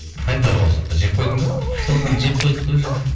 қайда ол жылқы жеп қойдың ба жылқыны жеп қойдық қой уже